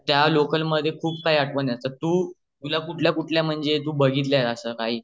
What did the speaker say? त्या लोकामधे खूप काही आठवण आहे तर तू तुला कुठल्या कुठल्या तू भाघीतले आहेत अस